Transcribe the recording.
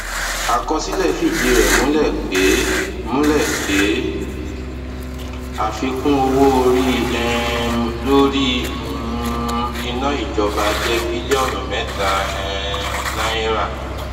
àkọsílẹ fìdí rẹ múlẹ pé múlẹ pé àfikún owó orí um lórí um iná ìjọba jẹ bílíọnù mẹta um náírà